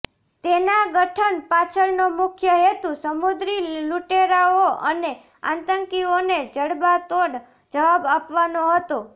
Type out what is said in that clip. તેના ગઠન પાછળનો મુખ્ય હેતુ સમુદ્રી લૂટેરાઓ અને આતંકીઓને જડબાતોડ જવાબ આપવાનો હતો